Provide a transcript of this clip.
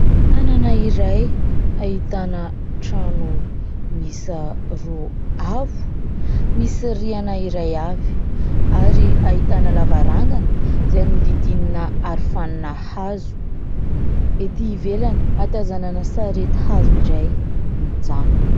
Tanana iray ahitana trano miisa roa avo misy rihana iray avy ary ahitana lavarangana izay nohodihodinina arofanina hazo. Ety ivelany, ahatazanana sarety hazo iray mijanona.